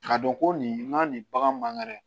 K'a dɔn ko nin ka nin bagan mangɛrɛ